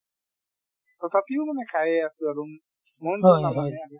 তথাপিও মানে খায়ে আছো আৰু উম মন ভাল নাথাকে